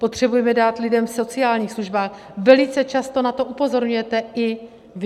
Potřebujeme dát lidem v sociálních službách, velice často na to upozorňujete i vy.